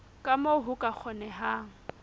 ka moo ho ka kgonehang